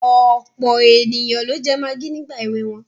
Ọ̀pọ̀ ènìyàn ló jẹ magí ní ìgbà èwe wọn.